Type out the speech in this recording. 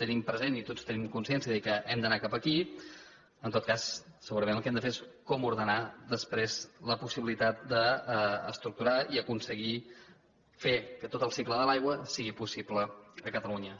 tenim present i tots tenim consciència que hem d’anar cap aquí en tot cas segurament el que hem de fer és com ordenar després la possibilitat d’estructurar i aconseguir fer que tot el cicle de l’aigua sigui possible a catalunya